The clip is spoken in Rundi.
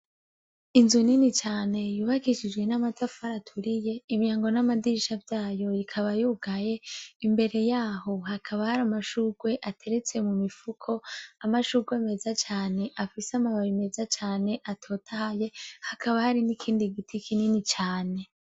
Inzu nini cane yubakishijwe n' amatafari aturiye imyango n' amadirisha vyayo ikaba yugaye imbere yahoo hakaba hari amashugwe ateretse mu mifuko amashugwe meza cane afise amababi meza cane atotahaye hakaba hari n' ikindi giti kinini cane.